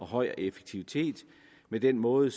høj effektivitet i den måde